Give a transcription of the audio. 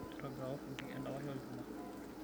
Aitobiraka olfundi endapash olchuma.